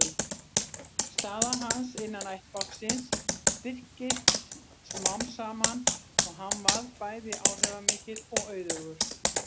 Staða hans innan ættbálksins styrktist smám saman og hann varð bæði áhrifamikill og auðugur.